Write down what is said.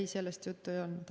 Ei, sellest juttu ei olnud.